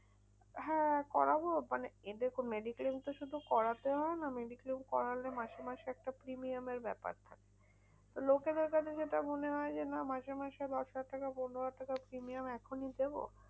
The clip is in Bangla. হ্যাঁ করাবো? মানে এতে mediclaim তো শুধু করাতে হয় না, mediclaim করালে মাসে মাসে একটা premium এর ব্যাপার থাকে। লোকেদের কাছে যেটা মনে হয় যে, না মাসে মাসে দশহাজার টাকা পনেরোহাজার টাকা premium এখনই দেব?